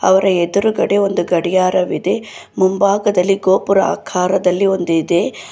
ಅವರ ಎದುರುಗಡೆ ಒಂದು ಗಡಿಯಾರವಿದೆ ಮುಂಬಾಗದಲ್ಲಿ ಗೋಪುರ ಆಕಾರದಲ್ಲಿ ಒಂದು ಇದೆ.